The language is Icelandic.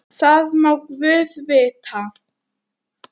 Það má guð vita.